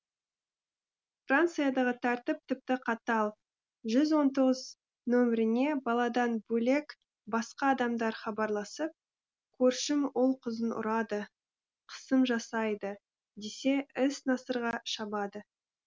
франциядағы тәртіп тіпті қатал жүз он тоғыз нөміріне баладан бөлек басқа адамдар хабарласып көршім ұл қызын ұрады қысым жасайды десе іс насырға шабады